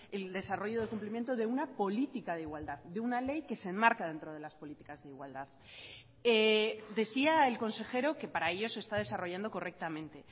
el desarrollo del cumplimiento de una política de igualdad de una ley que se enmarca dentro de las políticas de igualdad decía el consejero que para ellos se está desarrollando correctamente